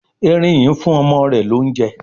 Eerin yi ń fún ọmọ rẹ l'ounjẹ